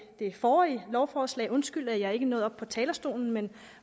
det forrige lovforslag undskylde at jeg ikke nåede op på talerstolen men